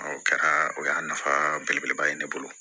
Ɔ o kɛra o y'a nafa belebeleba ye ne bolo